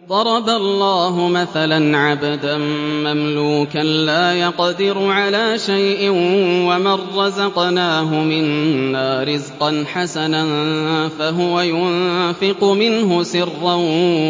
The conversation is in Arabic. ۞ ضَرَبَ اللَّهُ مَثَلًا عَبْدًا مَّمْلُوكًا لَّا يَقْدِرُ عَلَىٰ شَيْءٍ وَمَن رَّزَقْنَاهُ مِنَّا رِزْقًا حَسَنًا فَهُوَ يُنفِقُ مِنْهُ سِرًّا